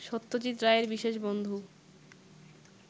সত্যজিৎ রায়ের বিশেষ বন্ধু